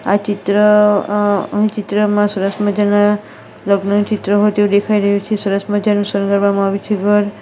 આ ચિત્ર અહ આ ચિત્રમાં સરસ મજાના લગ્નનું ચિત્ર હોય તેવુ દેખાઈ રહ્યું છે સરસ મજાનું શણગારવામાં આવ્યુ છે ઘર.